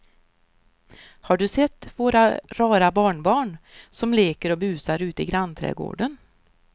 Har du sett våra rara barnbarn som leker och busar ute i grannträdgården!